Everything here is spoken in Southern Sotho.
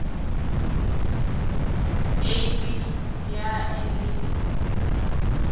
a b ya e le